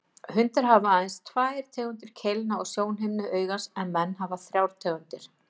Hundar hafa aðeins tvær tegundir keilna á sjónhimnu augans en menn hafa þrjár tegundir.